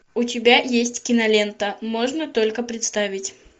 у тебя есть кинолента можно только представить